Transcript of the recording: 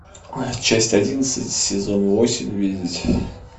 часть одиннадцать сезон восемь видеть